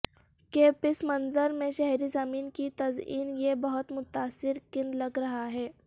کے پس منظر میں شہری زمین کی تزئین یہ بہت متاثر کن لگ رہا ہے